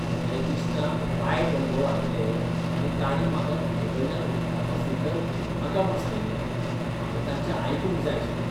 म्हज्या इश्टांक वायट अणभव आयिल्ले आनी तांणी म्हाका तुजेकडल्यान उदकाचो फिल्टर घेवूं नाका म्हूण सांगिल्लें. हांवें तांचें आयकूंक जाय आशिल्लें .